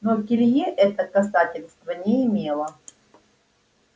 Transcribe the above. но к илье это касательства не имело